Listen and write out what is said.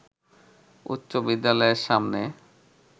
উচ্চ বিদ্যালয়ের সামনে